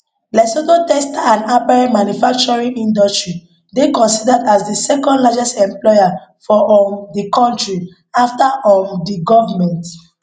lesotho textile and apparel manufacturing industry dey considered as di second largest employer for um di kontri afta um di govment